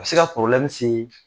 bɛ se ka se